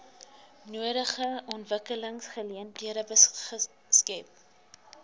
nodige ontwikkelingsgeleenthede skep